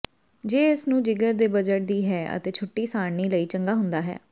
ਜੇ ਇਸ ਨੂੰ ਜਿਗਰ ਦੇ ਬਜਟ ਦੀ ਹੈ ਅਤੇ ਛੁੱਟੀ ਸਾਰਣੀ ਲਈ ਚੰਗਾ ਹੁੰਦਾ ਹੈ